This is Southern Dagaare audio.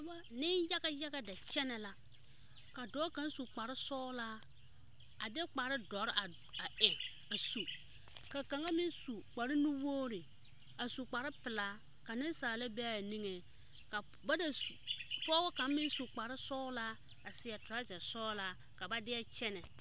Nenyaga yaga da kyɛne la a su kpare sɔglɔ a de kpare doɔre a eŋ a su ka kaŋa meŋ su kpare nu wogre a su kpare pelaa ka nensaala be a niŋe ka ba da su pɔge kaŋa meŋ su kpare sɔglɔ a seɛ torazaa sɔglɔ ka ba die kyɛne.